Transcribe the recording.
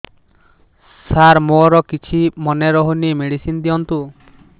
ସାର ମୋର କିଛି ମନେ ରହୁନି ମେଡିସିନ ଦିଅନ୍ତୁ